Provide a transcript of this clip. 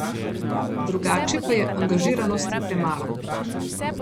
Drugače pa je angažiranosti premalo.